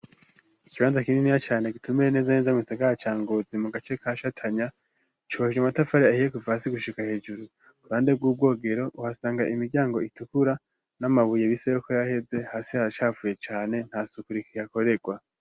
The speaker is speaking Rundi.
Ikibanza kininiya cane gitumbereye neza na neza mu gisagara ca ngozi mu gace kashatanya cubakishijwe amatafari ahiye kuva hasi gushika hejuru, uruhande bw'ubwogero uhasanga imiryango itukura n'amabuye bise yuko yaheze hasi haracafuye cane nta suku rihakoregwa.